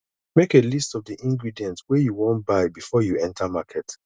make a list of the ingredient wey you wan buy before you enter market